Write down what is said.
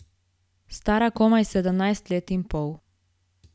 Stara komaj sedemnajst let in pol.